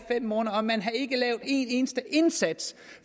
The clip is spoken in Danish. i eneste indsats